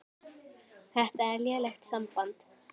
Þetta er lélegt samband